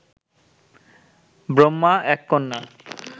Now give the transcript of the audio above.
ব্রহ্মা এক কন্যা